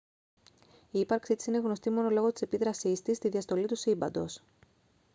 η ύπαρξή της είναι γνωστή μόνο λόγω της επίδρασής της στη διαστολή του σύμπαντος